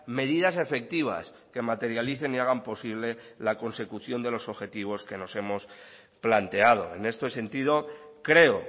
medidas efectivas que materialicen y hagan posible la consecución de los objetivos que nos hemos planteado en este sentido creo